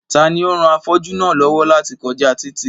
Ta ni ó ran afọ́jú náà lọ́wọ́ láti kọjá títì